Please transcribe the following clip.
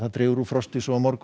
dregur úr frosti á morgun